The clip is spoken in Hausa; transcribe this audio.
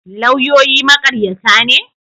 Lauyoyi maƙaryata ne?